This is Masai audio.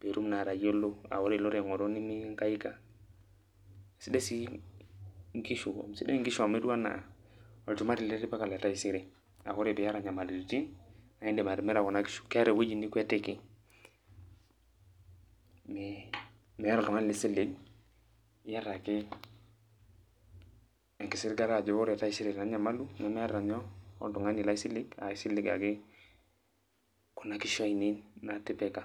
pitum naa atayiolo ah ore iloito aing'oru nimiankaika. Sidai nkishu amu etiu enaa olchumati litipika letaisere. Ah ore piata nyamalitin, nidim atimira kuna kishu. Keeta ewueji nikuetiki, meeta oltung'ani lisilen, iyata ake enkisiligata ajo ore taisere ena nyamalu, nemeeta nyoo, oltung'ani laisilen, aisilig ake, kuna kishu ainei natipika.